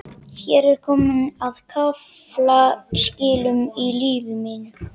Hér er komið að kaflaskilum í lífi mínu.